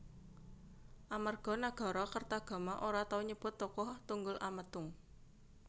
Amarga Nagarakertagama ora tau nyebut tokoh Tunggul Ametung